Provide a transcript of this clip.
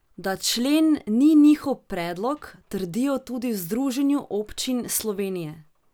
Da člen ni njihov predlog, trdijo tudi v Združenju občin Slovenije.